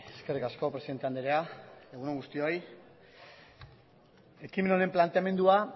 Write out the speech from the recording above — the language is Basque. eskerrik asko presidente andrea egun on guztioi ekimen honen planteamendua